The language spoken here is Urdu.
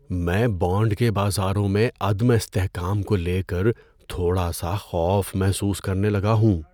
میں بانڈ کے بازاروں میں عدم استحکام کو لے کر تھوڑا سا خوف محسوس کرنے لگا ہوں۔